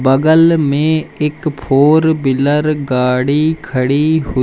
बगल में एक फोर बिलर गाड़ी खड़ी हुई--